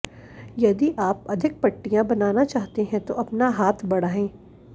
यदि आप अधिक पट्टियां बनाना चाहते हैं तो अपना हाथ बढ़ाएं